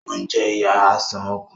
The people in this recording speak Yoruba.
O ń je iyá Àìsàn ọkàn